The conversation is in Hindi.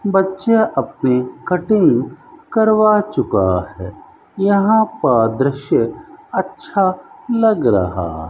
बच्चा अपनी कटिंग करवा चुका है यहां पर दृश्य अच्छा लग रहा --